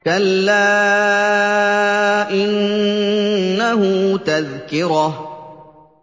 كَلَّا إِنَّهُ تَذْكِرَةٌ